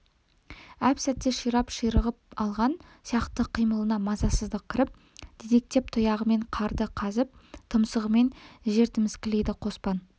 әп-сәтте ширап ширығып алған сияқты қимылына мазасыздық кіріп дедектеп тұяғымен қарды қазып тұмсығымен жер тіміскілейді қоспан